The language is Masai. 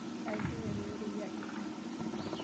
Aishunyate rorei ahe.